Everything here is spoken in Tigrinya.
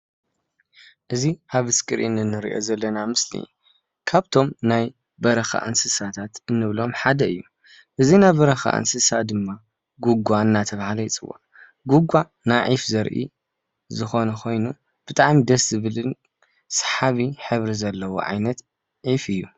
እዚ ኣብ ስክሪን እንርእዮ ዘለና ምስሊ ካብቶም ናይ በረኻ እንስሳታት እንብሎም ሓደ እዩ። እዚ ናይ በረኻ እንስሳ ድማ ጉጛ እናተብሃለ ይጽዋዕ። ጉጛናይ ዒፍ ዘርኢ ዝኮነ ኮይኑ ብጣዕሚ ደስ ዝብልን ሰሓቢ ሕብሪ ዘለዎ ዓይነት ዒፍ እዩ።